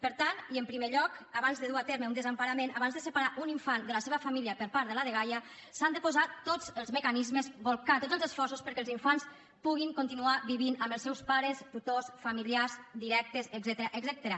per tant i en primer lloc abans de dur a terme un desemparament abans de separar un infant de la seva família per part de la dgaia s’han de posar tots els mecanismes bolcar tots els esforços perquè els infants puguin continuar vivint amb els seus pares tutors familiars directes etcètera